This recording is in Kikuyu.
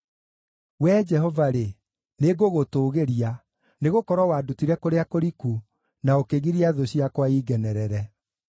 Wee Jehova-rĩ, nĩngũgũtũũgĩria nĩgũkorwo wandutire kũrĩa kũriku, na ũkĩgiria thũ ciakwa ingenerere.